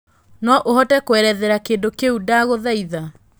no ũhote kũerethera kĩndũ kĩu ndagũthaĩtha